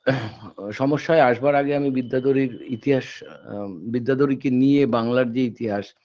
সমস্যায় আসবার আগে আমি বিদ্যাধরীর ইতিহাস আ বিদ্যাধরীকে নিয়ে বাংলার যে ইতিহাস